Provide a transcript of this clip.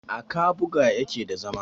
a kabuga yake da zama